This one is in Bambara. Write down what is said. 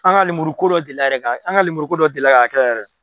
An ka lemuru ko dɔ deli la yɛrɛ ka, an ka lemuru dɔ deli la ka kɛ yɛrɛ